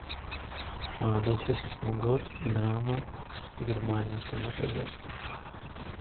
двухтысячный год драма германия страна производства